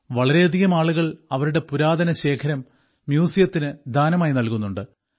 വളരെയധികം ആളുകൾ അവരുടെ പുരാതന ശേഖരം മ്യൂസിയത്തിന് ദാനം ചെയ്യുന്നുണ്ട്